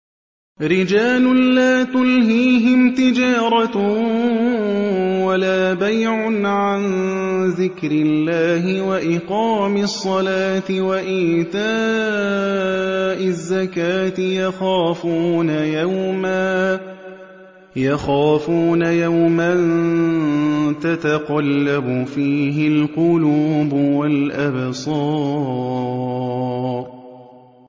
رِجَالٌ لَّا تُلْهِيهِمْ تِجَارَةٌ وَلَا بَيْعٌ عَن ذِكْرِ اللَّهِ وَإِقَامِ الصَّلَاةِ وَإِيتَاءِ الزَّكَاةِ ۙ يَخَافُونَ يَوْمًا تَتَقَلَّبُ فِيهِ الْقُلُوبُ وَالْأَبْصَارُ